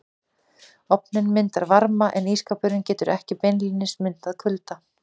Ofninn myndar varma en ísskápurinn getur ekki beinlínis myndað kulda.